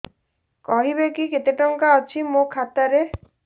କହିବେକି କେତେ ଟଙ୍କା ଅଛି ମୋ ଖାତା ରେ